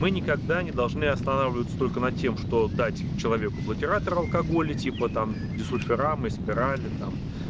вы никогда не должны останавливаться только на тем что дать человеку блокиратор алкоголь и типа там дисульфирам и спирали там